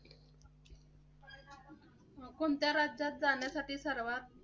कोणत्या राज्यात जाण्यासाठी सर्वात?